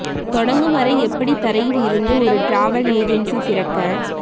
தொடங்கும் வரை எப்படி தரையில் இருந்து ஒரு டிராவல் ஏஜென்சி திறக்க